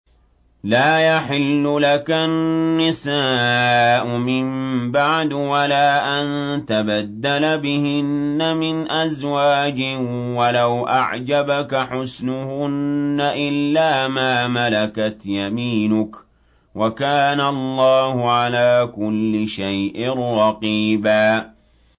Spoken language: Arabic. لَّا يَحِلُّ لَكَ النِّسَاءُ مِن بَعْدُ وَلَا أَن تَبَدَّلَ بِهِنَّ مِنْ أَزْوَاجٍ وَلَوْ أَعْجَبَكَ حُسْنُهُنَّ إِلَّا مَا مَلَكَتْ يَمِينُكَ ۗ وَكَانَ اللَّهُ عَلَىٰ كُلِّ شَيْءٍ رَّقِيبًا